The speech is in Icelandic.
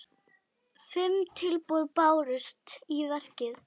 Fimm tilboð bárust í verkið.